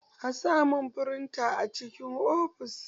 A samun firinta a cikin ofis.